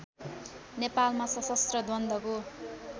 नेपालमा सशस्त्र द्वन्द्वको